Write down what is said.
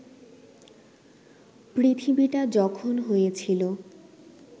পৃথিবীটা যখন হয়েছিল